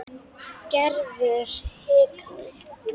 Gerður hikaði.